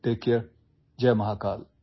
যত্ন লওক জয় মহাকাল